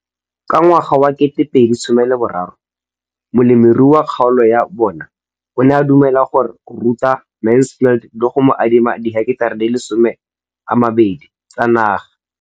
Ka ngwaga wa 2013, molemirui mo kgaolong ya bona o ne a dumela go ruta Mansfield le go mo adima di heketara di le 12 tsa naga.